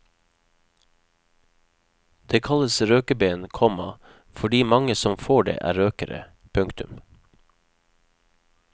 Det kalles røkeben, komma fordi mange som får det er røkere. punktum